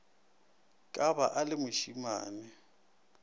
ka ba o le mošimane